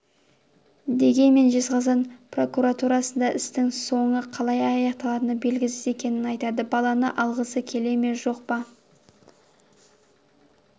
дегенмен жезқазған прокуратурасында істің соңы қалай аяқталатыны белгісіз екенін айтады баланы алғысы келе ме жоқ па